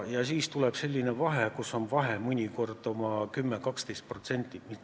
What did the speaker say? Ja siis tuleb selline vahe, mõnikord oma 10–12%.